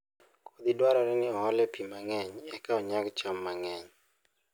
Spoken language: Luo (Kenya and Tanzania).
Kodhi dwarore ni oole pi mang'eny eka onyag cham mang'eny